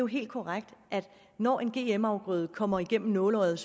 helt korrekt at når en gm afgrøde kommer igennem nåleøjet